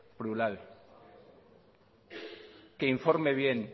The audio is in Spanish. plural que informe bien